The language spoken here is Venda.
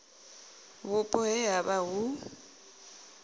vhupo he ha vha hu